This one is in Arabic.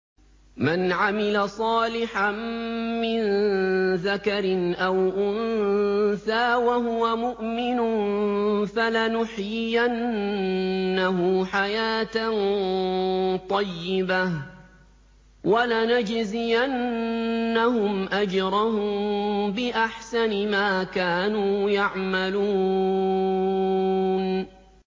مَنْ عَمِلَ صَالِحًا مِّن ذَكَرٍ أَوْ أُنثَىٰ وَهُوَ مُؤْمِنٌ فَلَنُحْيِيَنَّهُ حَيَاةً طَيِّبَةً ۖ وَلَنَجْزِيَنَّهُمْ أَجْرَهُم بِأَحْسَنِ مَا كَانُوا يَعْمَلُونَ